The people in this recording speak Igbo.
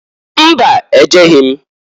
Mba! Ejeghi m.